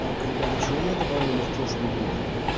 так ребят а что вы меня добавили в прошлую группу